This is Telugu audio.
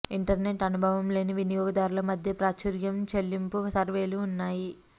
ఇంటర్నెట్ అనుభవం లేని వినియోగదారులు మధ్య ప్రాచుర్యం చెల్లింపు సర్వేలు ఉన్నాయి